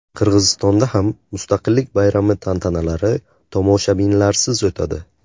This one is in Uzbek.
Qirg‘izistonda ham Mustaqillik bayrami tantanalari tomoshabinlarsiz o‘tadi.